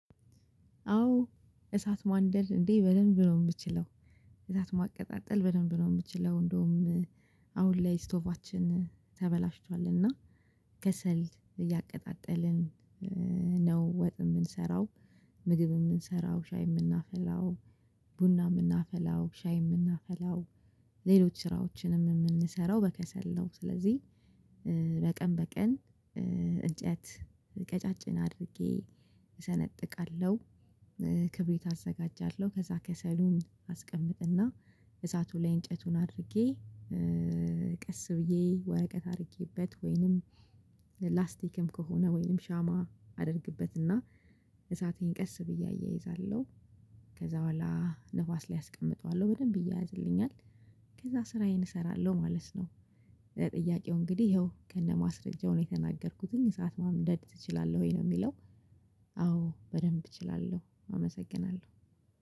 አዎ እሳት ማንደድ እንዴ በደንብ ነው የምችለው። እሳት ማቀጣጠል በደንብ ነው የምችለው። እንደውም አሁን ላይ ስቶባችን ተበላሽቷል እና ከሰል እያቀጣጠልን ነው ወጥ የምንሰራው። ምግብ የምንሰራው ሻይ የምናፈላው ቡና የምናፈላው ሻይ የምናፈላው ሌሎች ስራዎችንም የምንሰራው በከሰል ነው። ስለዚህ በቀን እንጨት ቀጫጭን አድርጌ እሰነጥቃለሁ። ክብሪት አዘጋጃለሁ ከዛ ከሰሉን አስቀምጥና እሳቱ ላይ እንጨቱን አድርጌ ቀስ ብዬ ወረቀት አድርጌበት ወይንም ላስቲክም ከሆነ ወይንም ሻማ አደርግበትና እሳቴን ቀስ ብዬ አያይዛለሁ ከዛ በኋላ ንፋስ ላይ አስቀምጠዋለሁ በደንብ ይያያዝልኛል። ከዛ ስራዬን እሰራለሁ ማለት ነው። ጥያቄው እንግዲህ ይኸው ከነማስረጃው ነው የተናገርኩትኝ እሳት ማንደድ ትችላለሁ ወይ ነው የሚለው? አዎ በደንብ እችላለሁ አመሰግናለሁ